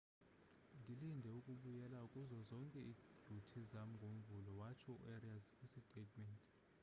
ndilinde ukubuyela kuzo zonke idyuti zam ngomvulo, :watsho uarias kwisitatementi